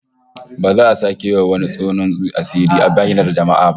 Ba za a sake yi wa wani tonon asiri a bainar jama'a ba